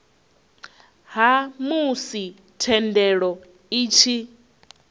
ha musi thendelo i tshi